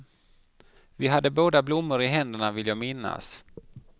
Vi hade båda blommor i händerna, vill jag minnas.